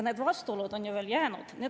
Need vastuolud on ju jäänud.